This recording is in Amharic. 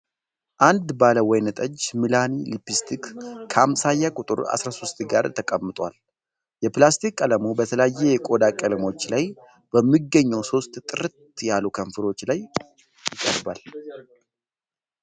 አንድ ባለወይንጠጅ ሚላኒ ሊፕስቲክ ከአምሳያ ቁጥር 13 ጋር ተቀምጧል። የሊፕስቲክ ቀለሙ በተለያዩ የቆዳ ቀለሞች ላይ በሚገኙ ሶስት ጥርት ያሉ ከንፈሮች ላይ ይቀርባል።